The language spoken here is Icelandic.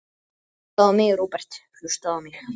Hlustaðu á mig, Róbert, hlustaðu á mig.